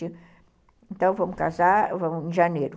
Então, vamos casar, vamos em janeiro.